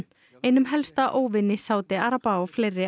einum helsta óvini Sádi araba og fleiri